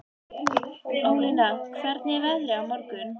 Ólína, hvernig er veðrið á morgun?